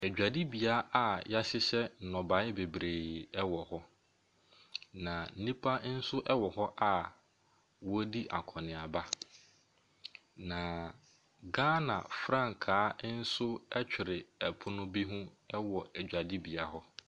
Adwadibea yɛahyehyɛ nnɔbae bebree wɔ hɔ. Na nnipa nso wɔ hɔ a wɔredi akɔneaba. Na Ghana frankaa nso twere pono bi ho wɔ dwadibea hɔ.